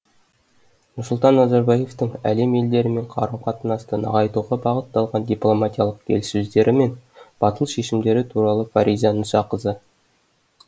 нұрсұлтан назарбаевтың әлем елдерімен қарым қатынасты нығайтуға бағытталған дипломатиялық келіссөздері мен батыл шешімдері туралы фариза мұсақызы